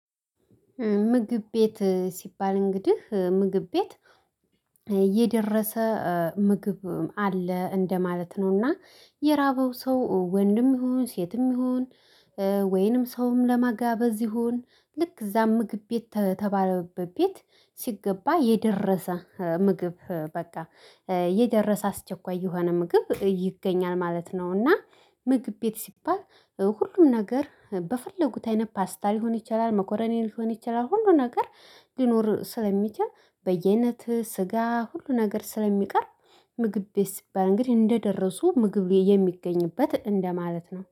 ምግብ ቤት ሲባል እንግዲህ ምግብ ቤት የደረሰ ምግብ አለ እንደማለት ነው። እና የራበው ሰው ወንድም ይሁን ሴትም ይሁን። ወይንም ሰውም ለማጋበዝ ይሁን ልክ እዛ ምግብ ቤት ተተባለበት ቤት ሲገባ የደረሰ ምግብ በቃ የደረሰ አስቸኳይ የሆነ ምግብ ይገኛል ማለት ነው። እና ምግብ ቤት ሲባል ሁሉም ነገር በፈለጉት አይነት ፓስታ ሊሆን ይችላል መከሮኒ ሊሆን ይችላል ሁሉ ነገር። ሊኖር ስለሚችል በያይነት ስጋ ሁሉ ነገር ስለሚቀርብ። ምግብ ቤት ሲባል እንግዲህ እንደደረሱ ምግብ የሚገኝበት እንደማለት ነው